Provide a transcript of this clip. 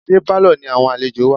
Ṣé Pálọ̀ ni àwọn àlejò wà?